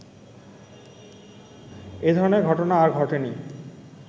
এধরনের ঘটনা আর ঘটেনি